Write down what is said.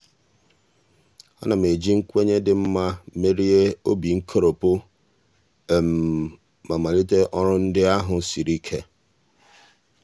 a na m eji nkwenye dị mma iji merie obi nkoropụ ma malite ọrụ ndị ahụ um siri ike.